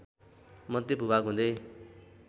मध्य भूभाग हुँदै